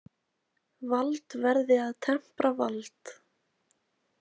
Vald verði að tempra vald.